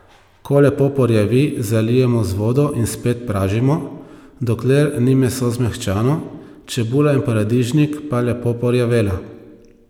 Ko lepo porjavi, zalijemo z vodo in spet pražimo, dokler ni meso zmehčano, čebula in paradižnik pa lepo porjavela.